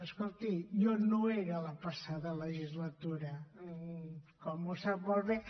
escolti jo no hi era la passada legislatura com sap molt bé